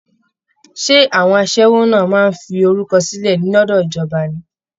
Ṣé àwọn aṣẹ́wó náà máa ń fi orúkọ sílẹ̀ lọ́dọ̀ ìjọba ni!